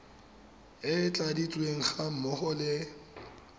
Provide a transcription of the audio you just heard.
e tladitsweng ga mmogo le